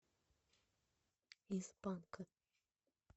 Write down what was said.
из панка